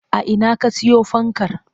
A ina ka siyo fankar?